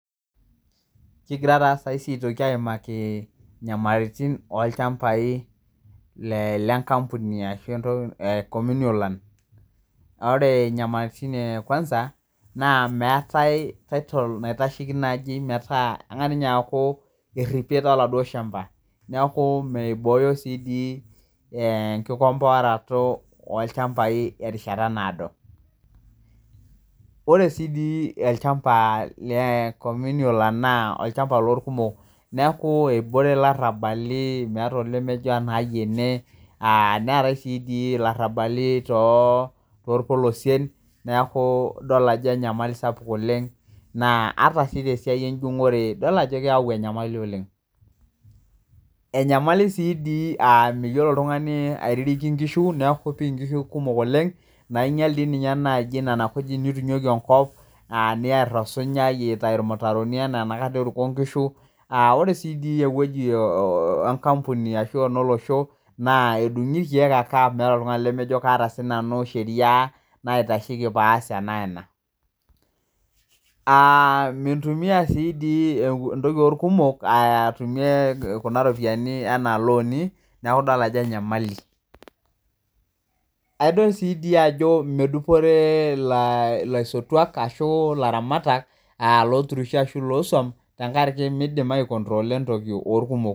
Kigira ta saisi aitoki aimaki inyamalitin olchambai lenkampuni ashu le communal land. Na ore nyamalatin e kwansa na meetae title naitasheki naji metaa eng'as ninye aku erripiet oladuo shamba. Neeku miboyo si di enkikomboaroto olchambai terishata naado. Ore si di olchamba le communal land naa olchamba lorkumok. Neeku ebore ilarrabali meeta ole mejo enai ene, netai si di larrabali torpolosien neku idol ajo enyamali sapuk oleng, naa ata si tesiai ejung'ore idol ajo keeu enyamali oleng. Enyamali si di ah miyiolo oltung'ani aitiriki inkishu neeku pi nkishu kumok oleng, nainyal di ninye naji nena kujit nitunyoki enkop, niar osunyai itayu irmutaroni enaduo eruko inkishu, ore si di ewoji enkampuni ashu enolosho, naa edung'i irkeek ake amu meeta oltung'ani lemejo kaata sinanu sheria naitasheki paas ena wena. Mintumia si di entoki orkumok atumie kuna ropiyiani enaa loni, neku idol ajo enyamali. Aidol si di ajo medupore ilaisotuak ashu ilaramatak, loturisho ashu losuam, tenkaraki midim aikontrola entoki orkumok.